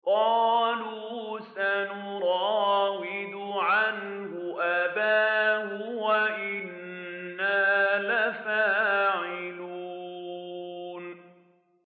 قَالُوا سَنُرَاوِدُ عَنْهُ أَبَاهُ وَإِنَّا لَفَاعِلُونَ